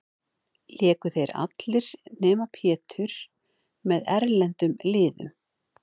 Léku þeir allir, nema Pétur, með erlendum liðum.